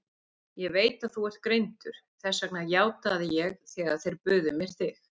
Ég veit að þú ert greindur, þess vegna játaði ég þegar þeir buðu mér þig.